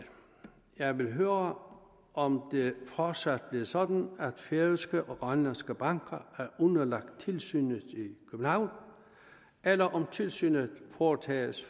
jeg vil høre om det fortsat bliver sådan at færøske og grønlandske banker er underlagt tilsynet i københavn eller om tilsynet foretages